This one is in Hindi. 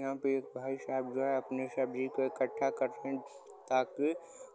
यहां पे एक भाई साहब जो है अपने सब्जी को इकट्ठा करते हैं ताकि